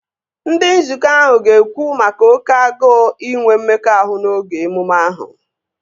Ndị nzukọ ahụ ga-ekwu maka oké agụụ inwe mmekọahụ n'oge emume ahụ